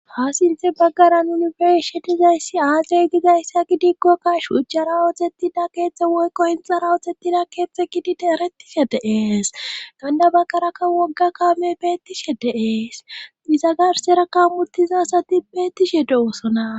Faasinthe baggara nuni be'ishshe dizayssi aaze gizayssa gidikkokkash ujcjara oxettida keeththe woykko hinxara oxetida keeththe gidide erettishe de'ees gana baggaraka wogga kaame beettishe de'ees iza garseraka mutizasati beettishe de'oosona